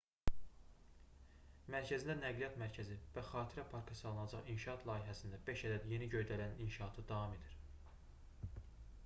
mərkəzində nəqliyyat mərkəzi və xatirə parkı salınacaq inşaat layihəsində beş ədəd yeni göydələnin inşaatı davam edir